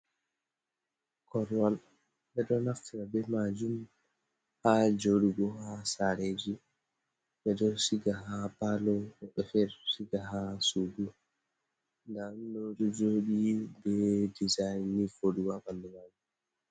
Korwal ɓeɗo naftira be majum ha joɗugo ha sare ji ɓeɗo siga ha palo woɓɓe fere ɗo siga ha sugu nda ɗum ɗo do joɗi be design ni voɗugo ha ɓandu majum.